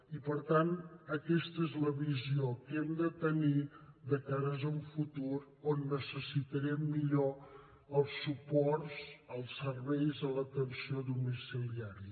i per tant aquesta és la visió que hem de tenir de cara a un futur on necessitarem millors suports als serveis d’atenció domiciliària